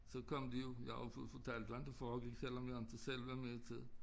Så kom de jo jeg har jo fået fortalt hvordan det foregik selvom jeg inte selv var med til det